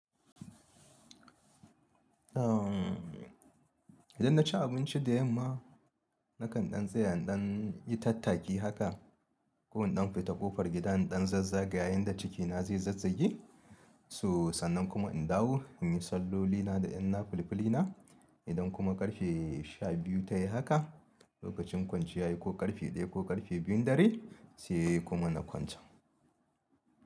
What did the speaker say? Idan na ci abinci da yamma, nakan ɗan saya idan tattaki haka. Ko in ɗan fita ƙofar gida in ɗan zazzaga yanda cikina zai zazzagi so. Sannan kuma in dawo in yi sallolina da ƴanna filifilina. Idan kuma ƙarfe sha biyu ta yi haka, lokacin kwanciya ya yi ko ƙarfe ɗaya ko ƙarfe biyun dare sai kuma na kwanta.